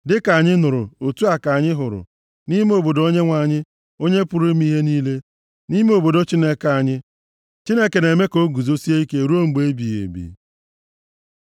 Dịka anyị nụrụ, otu a ka anyị hụrụ, nʼime obodo Onyenwe anyị, Onye pụrụ ime ihe niile, nʼime obodo Chineke anyị: Chineke na-eme ka o guzosie ike ruo mgbe ebighị ebi. Sela